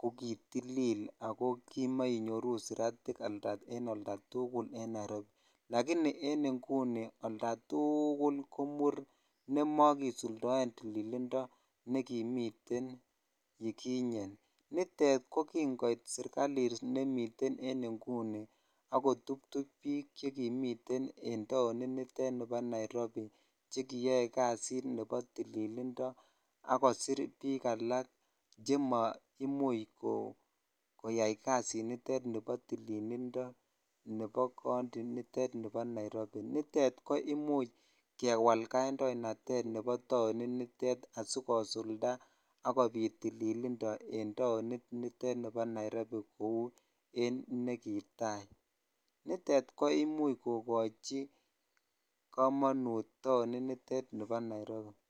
kokitlil ak ko kimenyoru siratik en oldatukul en Nairobi, lakini en ing'uni oldatukul ko muur nemokisuldoen tililindo nekimiten yukinye, nitet ko king'oit serikalit nemiten en ing'uni ak ko tubtub biik chekimiten en taonitet nibo nairobi chekiyoe kasit nekibo tililindo ak kosir biik alak chemoimuch koyai kasinitet nebo tililindo nebo county initet nibo Nairobi, nitet ko imuch kewaal kandoinatet nebo taoni nitet asikosulda ak kobiiit tililindo en taonitet niton nibo Nairobi kouu en nekitai, nitet ko imuch kokochi komonut taonitet nibo Nairobi.